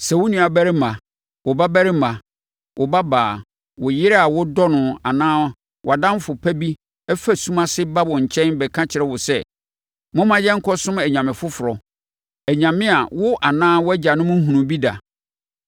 Sɛ wo nuabarima, wo babarima, wo babaa, wo yere a wodɔ no anaa wʼadamfo pa bi fa sum ase ba wo nkyɛn bɛka kyerɛ wo sɛ, “Momma yɛnkɔsom anyame foforɔ, anyame a wo anaa wʼagyanom nhunuu bi da,”